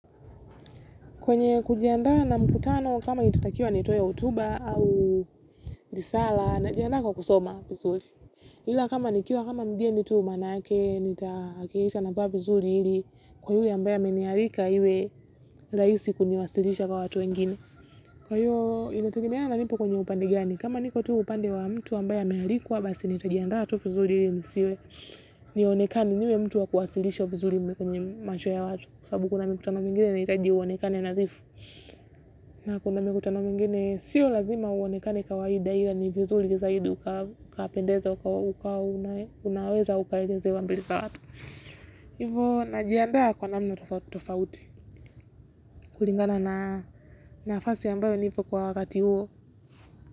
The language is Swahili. Kwenye kujiandaa na mkutano kama nitatakiwa nitoe hotuba au disala na jiandaa kwa kusoma vizuri. Ila kama nikiwa kama mgeni tuu manake nitahakikisha na vaa vizuri ili kwa yule ambaye amenialika iwe rahisi kuniwasilisha kwa watu wengine. Kwa hiyo inategemea na nipo kwenye upande gani. Kama niko tuu upande wa mtu ambaye amealikwa basi nitajiandaa tu vizuri ili nisiwe. Nionekane, niwe mtu wa kuwasilishwa vizuri kwenye macho ya watu. Kwa sabubu kuna mikutano mingine inahitaji uonekane nadhifu na kuna mikutano mingine sio lazima uonekane kawaidi ila ni vizuri zaidi ukapendeza, ukawa unaweza ukaelezewa mbele za watu, hivo na jiandaa kwa namna tofauti tofauti kulingana na nafasi ambayo nipo kwa wakati huo.